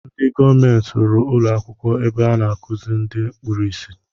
Ndị gọọmenti rụrụ ụlọ akwụkwọ ebe a na akuziri ndị kpụrụ isi